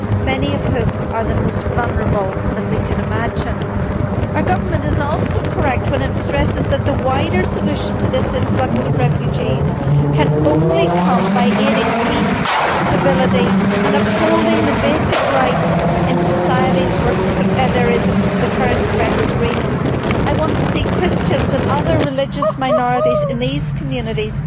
many of whom are the most vulnerable that we can imagine. Our Government is also correct when it stresses that the wider solution to this influx of refugees can come only from aiding peace and stability and upholding the basic rights in societies where the current threat is real. I want to see Christians and other religious minorities in these communities